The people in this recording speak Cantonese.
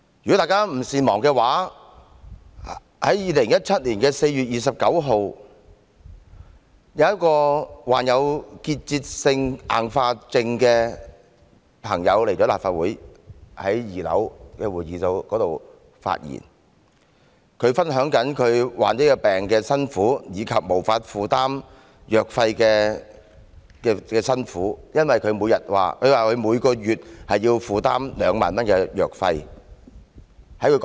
如果大家不善忘的話，在2017年4月11日，一名患有結節性硬化症的朋友到立法會2樓的會議廳發言，分享了患病的痛苦及無法負擔藥費的辛酸，因為據她所說，她每月要負擔2萬元藥費。